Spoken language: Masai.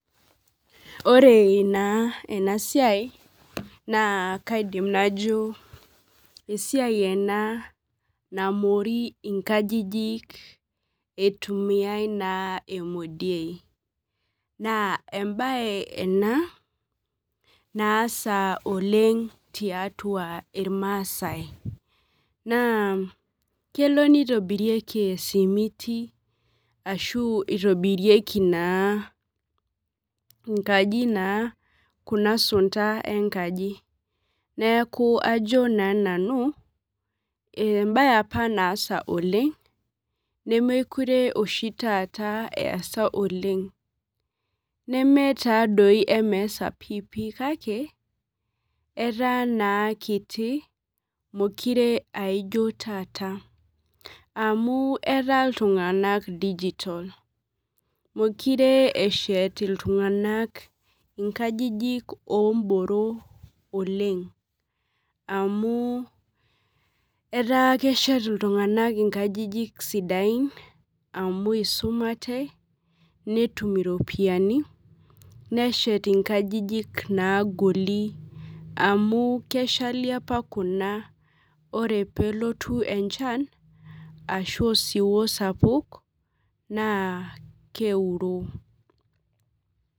Ore naaa ena siai naa kaidim najo esia ena namori inkajijik eitumiyaei emodie naa embaye ena naasa tiatua irmaasai naa kelo neitobirieki esimiti ashuu eitobirieki naa enkaji naa kuna sunda enkaji neeku ajo naa nanubembaye apa naasa oleng nemekure esaa oleng nemetaadoi emaasa kake etaa naa kiti meekure eesa taata mekure eshet iltung'anak inkajijik oomboro oleng amu etaa keshet iltung'anak inkajijik sidain amu eisumate netum iropiyiani neshet inkajiji naagoli amu keshali apa kuna ore leelotu osiwuo naa keuroo